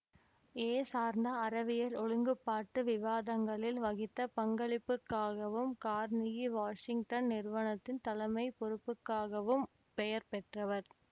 ஏ சார்ந்த அறவியல் ஒழுங்குபாட்டு விவாதங்களில் வகித்த பங்களிப்புக்காகவும் கார்னிகி வாசிங்டன் நிறுவனத்தின் தலைமை பொறுப்புக்காகவும் பெயர் பெற்றவர்